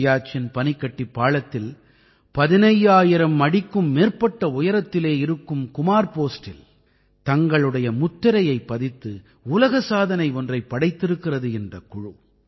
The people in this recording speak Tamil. சியாச்சின் பனிக்கட்டிப் பாளத்தில் 15000 அடிக்கும் மேற்பட்ட உயரத்திலே இருக்கும் குமார் போஸ்டில் தங்களுடைய முத்திரையைப் பதித்து உலக சாதனை ஒன்றைப் படைத்திருக்கிறது இந்தக் குழு